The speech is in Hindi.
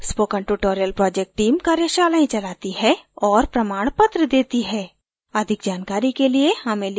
spoken tutorial project team कार्यशालाएं चलाती है और प्रमाणपत्र देती है अधिक जानकारी के लिए हमें लिखें